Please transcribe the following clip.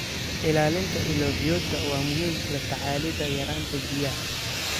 Ilaalinta ilo biyoodka waa muhiim la tacaalida yaraanta biyaha.